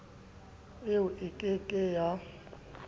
eo e ke ke ya